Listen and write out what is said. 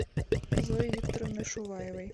зои викторовны шуваевой